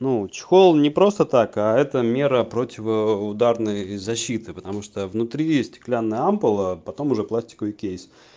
ну чехол не просто так а это мера противоударной защиты потому что внутри есть стеклянная ампула потом уже пластиковый кейс